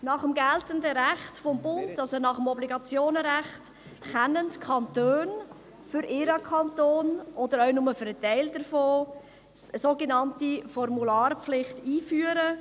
Nach geltendem Recht des Bundes, also gemäss Schweizerischem Obligationenrecht (OR), können die Kantone für ihren Kanton, oder auch nur für einen Teil davon, eine sogenannte Formularpflicht einführen.